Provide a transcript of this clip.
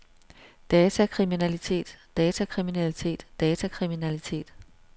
datakriminalitet datakriminalitet datakriminalitet